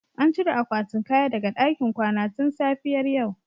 An cire akwatin kaya daga ɗakin kwana tun safiyar yau